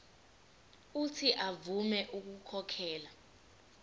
uuthi avume ukukhokhela